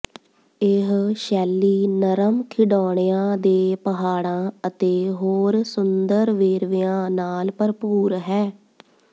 ਇਹ ਸ਼ੈਲੀ ਨਰਮ ਖਿਡੌਣਿਆਂ ਦੇ ਪਹਾੜਾਂ ਅਤੇ ਹੋਰ ਸੁੰਦਰ ਵੇਰਵਿਆਂ ਨਾਲ ਭਰਪੂਰ ਹੈ